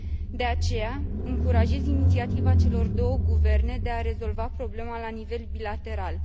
De aceea, încurajez inițiativa celor două guverne de a rezolva problema la nivel bilateral.